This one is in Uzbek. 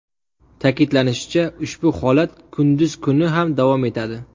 Ta’kidlanishicha, ushbu holat kunduz kuni ham davom etadi.